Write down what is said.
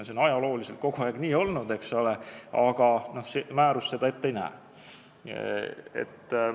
See on ajalooliselt kogu aeg nii olnud, eks ole, aga määrus seda ette ei näe.